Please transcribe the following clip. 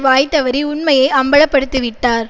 வாய் தவறி உண்மையை அம்பலப்படுத்திவிட்டார்